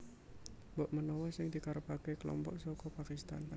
Mbok menawa sing dikarepaké kelompok saka Pakistan